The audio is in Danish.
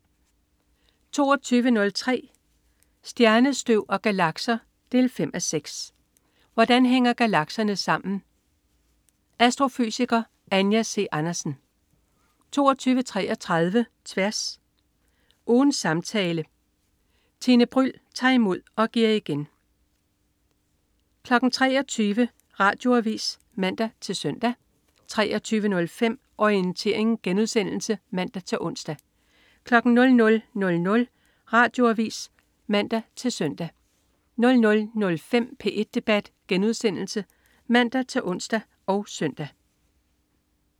22.03 Stjernestøv og galakser 5:6. Hvordan hænger galakserne sammen? Astrofysiker Anja C. Andersen 22.33 Tværs. Ugens samtale. Tine Bryld tager imod og giver igen 23.00 Radioavis (man-søn) 23.05 Orientering* (man-ons) 00.00 Radioavis (man-søn) 00.05 P1 debat* (man-ons og søn)